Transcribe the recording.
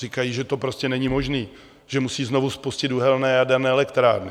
Říkají, že to prostě není možné, že musí znovu spustit uhelné a jaderné elektrárny.